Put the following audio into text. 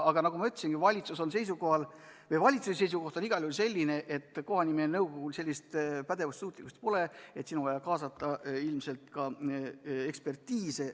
Aga nagu ma ütlesin, valitsuse seisukoht on igal juhul selline, et kohanimenõukogul sellist pädevust ega suutlikkust pole ja ilmselt on vaja kaasata ka ekspertiis.